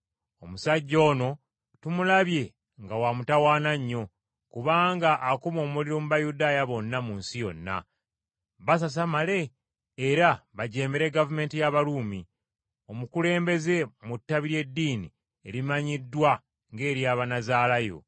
“Omusajja ono tumulabye nga wa mutawaana nnyo, kubanga akuma omuliro mu Bayudaaya bonna mu nsi yonna, basasamale era bajeemere gavumenti y’Abaruumi, omukulembeze mu ttabi ly’eddiini erimanyiddwa ng’ery’Abannazaalaayo.